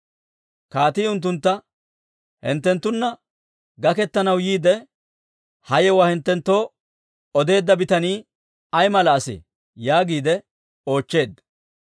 Kaatii unttuntta, «Hinttenttunna gaketanaw yiide, ha yewuwaa hinttenttoo odeedda bitanii ay mala asee?» yaagiide oochcheedda.